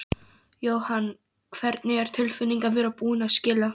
Jóhann: Hvernig er tilfinningin að vera búinn að skila?